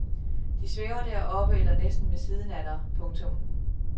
De svæver deroppe eller næsten ved siden af dig. punktum